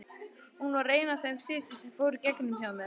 Hún var ein af þeim síðustu sem fóru í gegn hjá mér.